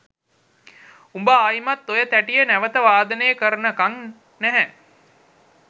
උඹ ආයිත් ඔය තැටිය නැවත වාදනය කරනකන් නැහැ